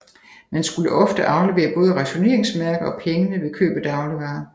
Man skulle ofte aflevere både rationeringsmærker og pengene ved køb af dagligvarer